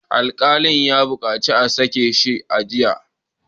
Alkalin ya bukaci a sake shi a jiya!